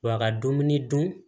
Wa a ka dumuni dun